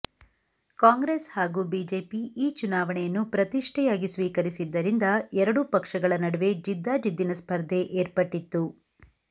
ಕಾಂಗ್ರೆಸ್ ಹಾಗೂ ಬಿಜೆಪಿ ಈ ಚುನಾವಣೆಯನ್ನು ಪ್ರತಿಷ್ಠೆಯಾಗಿ ಸ್ವೀಕರಿಸಿದ್ದರಿಂದ ಎರಡೂ ಪಕ್ಷಗಳ ನಡುವೆ ಜಿದ್ದಾಜಿದ್ದಿನ ಸ್ಪರ್ಧೆ ಏರ್ಪಟ್ಟಿತ್ತು